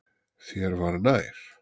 Þér var nær.